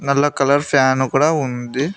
నల్ల colour fan కూడా ఉంది.